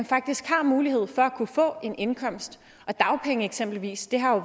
faktisk har mulighed for at kunne få en indkomst og dagpenge eksempelvis har